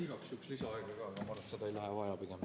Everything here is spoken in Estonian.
Igaks juhuks küsin lisaaega ka, aga ma arvan, et seda ei lähe pigem vaja.